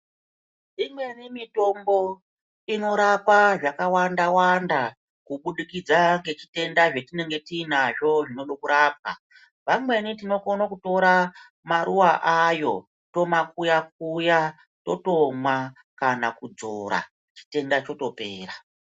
Imweni mitombo inorapa zvakawanda wanda kubudikidza ngezvitenda zvetinenge tiinazvo zvinodo kurapwa. Vamweni tinokono kutora maruva ayo tomakuya kuya totomwa kana kudzvora chitenda chotopera.